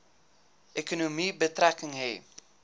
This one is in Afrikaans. ekonomie betrekking hê